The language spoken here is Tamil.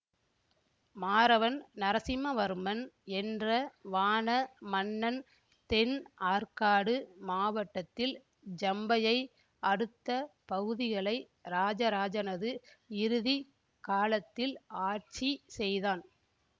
மாறவன் நரசிம்மவர்மன் என்ற வாண மன்னன் தென் ஆற்காடு மாவட்டத்தில் ஜம்பையை அடுத்த பகுதிகளை இராஜராஜனது இறுதி காலத்தில் ஆட்சி செய்தான்